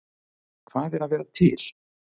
Hvað er að vera til?